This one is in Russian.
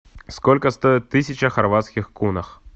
сколько стоит тысяча хорватских кунах